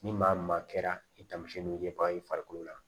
Ni maa maa kɛra i tamamisɛnnin ye ba i farikolo la